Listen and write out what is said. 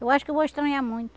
Eu acho que eu vou estranhar muito.